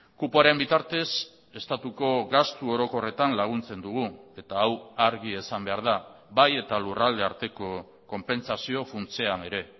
kupoaren bitartez estatuko gastu orokorretan laguntzen dugu eta hau argi esan behar da bai eta lurralde arteko konpentsazio funtsean ere